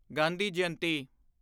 Gandhi Jayanti